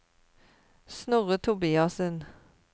Snorre Tobiassen